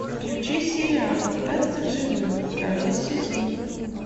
включи сериал остаться в живых второй сезон